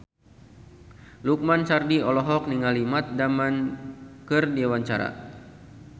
Lukman Sardi olohok ningali Matt Damon keur diwawancara